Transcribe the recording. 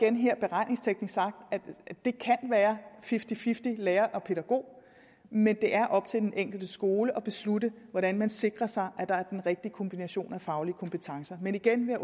her beregningsteknisk sagt at det kan være fifty fifty lærer og pædagog men det er op til den enkelte skole at beslutte hvordan man sikrer sig at der er den rigtige kombination af faglige kompetencer men igen vil